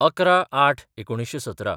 ११/०८/१९१७